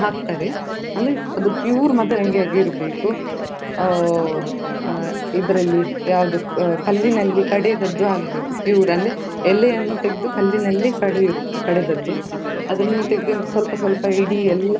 ಸಂಗ್ರಹಾಲಯದಲ್ಲಿ ಹಾಗೆ ನಮ್ಗೆ ಅಲ್ಲಿ ಆ ತುಂಬಾ ಆ ಗಮ್ಮತ್ ಮಾಡಿದ್ವಿ ನಾವು ಅಲ್ಲಿ ಹೋಗಿರುವಾಗ. ಹಾಗೆ ಅಲ್ಲಿ, ಆ ಅಲ್ಲಿ ನಮ್ಗೆ ಆ ಬೆಳಿಗ್ಗೆಯಿಂದ ಸಂಜೆಯವರೆಗೂ ಅಲ್ಲಿಯೇ ಆಗಿತ್ತು ಹಾಗೆ ಅಲ್ಲೆ ಒಳಗೆ ಮತ್ತೆ ಆ.